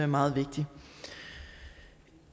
meget vigtigt